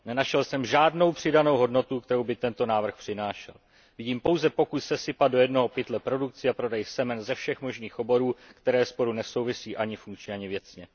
Nenašel jsem žádnou přidanou hodnotu, kterou by tento návrh přinášel. Vidím pouze pokus sesypat do jednoho pytle produkci a prodej semen ze všech možných oborů, které spolu nesouvisí ani funkčně, ani věcně.